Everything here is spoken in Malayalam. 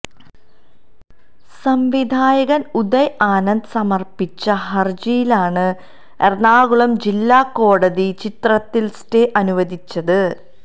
സംവിധായകന് ഉദയ് ആനന്ദന് സമര്പ്പിച്ച ഹരജിയിലാണ് എറണാകുളം ജില്ലാ കോടതി ചിത്രത്തിന് സ്റ്റേ അനുവദിച്ചത്